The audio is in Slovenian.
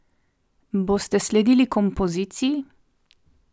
Boste sledili kompoziciji?